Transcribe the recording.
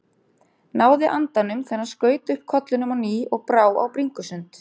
Náði andanum þegar hann skaut upp kollinum á ný og brá á bringusund.